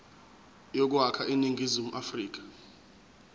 yokwakha iningizimu afrika